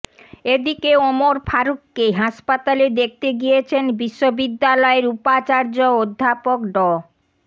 এদিকে ওমর ফারুখকে হাসপাতালে দেখতে গিয়েছেন বিশ্ববিদ্যালয়ের উপাচার্য অধ্যাপক ড